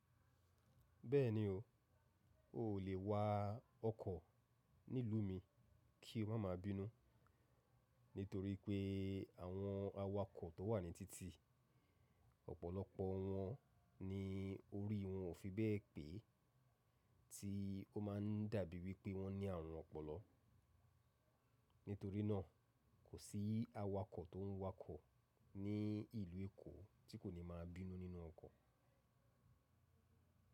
Bẹ́ẹ̀ni o, o ò lè wa ọkọ̀ nílùú mi kí n máa ma bínú. Nítorí pé àwọn awakọ̀ tó wà ní títì, ọ̀pọ̀lọpọ̀ wọn ni orí wọn ò fi bẹ́ẹ̀ pé tí ó máa ń dàbí wí pé wọ́n ní àrùn ọpọlọ. Nítorí náà, kò sí awakọ̀ tó ń wakọ̀ ní ìlú Èkó tí kò ní máa bínú nínú ọkọ̀.